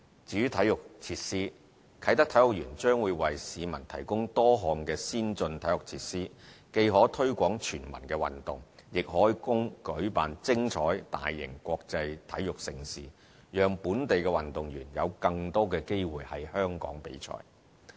至於體育設施，啟德體育園將為市民提供多項先進的體育設施，既可推廣全民運動，亦可供舉辦精彩大型國際體育盛事，讓本地運動員有更多機會在香港作賽。